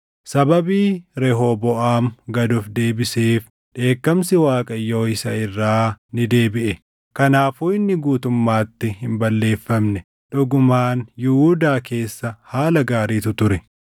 Sababii Rehooboʼaam gad of deebiseef dheekkamsi Waaqayyoo isa irraa ni deebiʼe; kanaafuu inni guutummaatti hin balleeffamne; dhugumaan Yihuudaa keessa haala gaariitu ture.